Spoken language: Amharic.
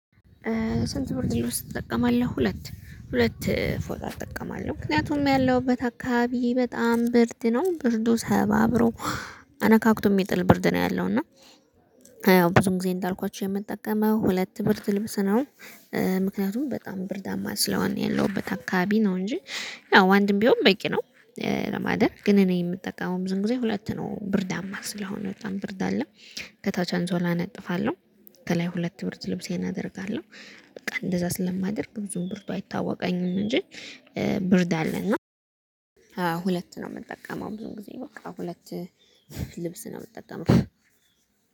ስንት ብርድ ልውስጥ ትጠቀማለህ? ሁለት ሁለት ፎጣ እጠቀማለው ምክንያቱም ያለሁበት አካባቢ በጣም ብርድ ነው ብርዱ ሰባብሮ አነካክቶ የሚጥል ብርድ ነው ያለው። እና ያው ብዙ ጊዜ እንዳልኳችሁ የምትጠቀመው ሁለት ብርድ ልብስ ነው። ምክንያቱም በጣም ብርዳማ ስለሆነ የለሁበት አካባቢ ነው እንጂ ያው አንድም ቢሆን በቂ ነው። ለማደር ግን እኔ የምጠቀመው ብዙን ጊዜ ሁለት ነው ብርዳማ ስለሆነ በጣም ብርድ አለ። ከታች አንሶላ እናጥፋለው ከላይ ሁለት ብር ልብሴን አደርጋለው። በቃ እንደዛ ስለማደርግ ብዙም ብርዱ አይታወቀኝም እንጂ ብርድ አለ። እና አዎ ሁለት ነው። የምትጠቀመው ብዙ ጊዜ በቃ ሁለት ልብስ ነው የምትጠቀመው።